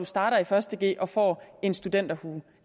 starter i første g og får en studenterhue